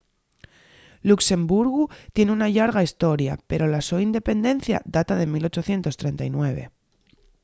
luxemburgu tien una llarga hestoria pero la so independencia data de 1839